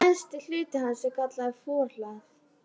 Neðsti hluti hans er kallaður forhlað.